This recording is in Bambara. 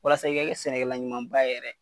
Walasa i ka kɛ sɛnɛkɛla ɲuman ba ye yɛrɛ